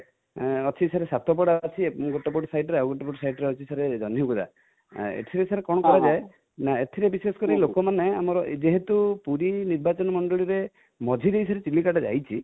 ଅଛି sir ସାତପଡ଼ା ଅଛି ଗୋଟିଏପଟ side ଆଉ ଗୋଟିଏପଟ side ରେ ଅଛି ଜନ୍ହହିଗୋଡା |ଏଠାରେ ସାର କଣ କରାଯାଏ ନା ଏଥିରେ ବିଶେଷକରି ଲୋକମାନେ ଆମର ଯେହେତୁ ପୁରୀ ନିର୍ବାଚନମଣ୍ଡଳୀ ରେ ମଝି ଦେଇ କି ଚିଲିକା ଟା ଯାଇଛି